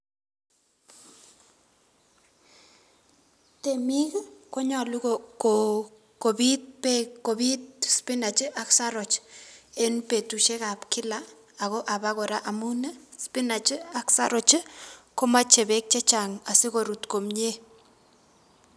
Temiik konyolu ko kobiit beek, kobiit spinach ak saroch en betushekab kila ako en abakora amun spinach ak saroch komoche beek chechang asikorut komie.